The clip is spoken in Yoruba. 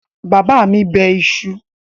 Bàbá mi bẹ iṣu?